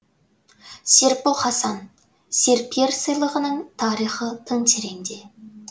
серікбол хасан серпер сыйлығының тарихы тың тереңде